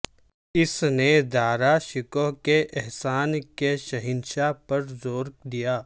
اس نے دارا شکوہ کے احسان کے شہنشاہ پر زور دیا